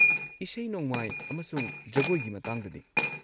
ꯏꯁꯩ-ꯅꯣꯡꯃꯥꯏ ꯑꯃꯁꯨꯡ ꯖꯒꯣꯏꯒꯤ ꯃꯇꯥꯡꯗꯗꯤ?